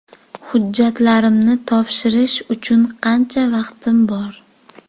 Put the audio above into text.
Hujjatlarimni topshirish uchun qancha vaqtim bor?